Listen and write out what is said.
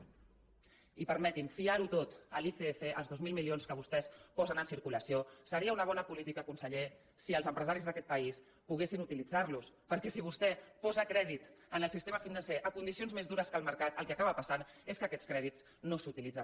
i permeti’m fiar ho tot a l’icf als dos mil milions que vostès posen en circulació seria una bona política conseller si els empresaris d’aquest país poguessin utilitzar los perquè si vostè posa crèdit en el sistema financer en condicions més dures que el mercat el que acaba passant és que aquests crèdits no s’utilitzen